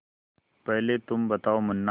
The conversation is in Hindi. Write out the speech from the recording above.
पहले तुम बताओ मुन्ना